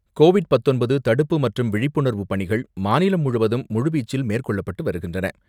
Covid பத்தொன்பது தடுப்பு மற்றும் விழிப்புணர்வு பணிகள் மாநிலம் முழுவதும் முழுவீச்சில் மேற்கொள்ளப்பட்டு வருகின்றன.